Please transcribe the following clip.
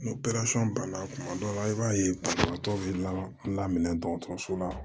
Ni banna kuma dɔ la i b'a ye banabagatɔ bɛ laminɛ dɔgɔtɔrɔso la